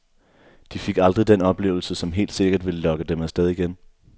De fik aldrig den oplevelse, som helt sikkert ville lokke dem af sted igen.